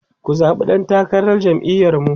ku zaɓi ɗan takarar jam'iyar mu!